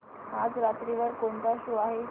आज रात्री वर कोणता शो आहे